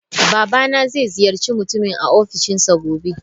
Babana zai ziyarci mutumin a Ofishinsa gobe.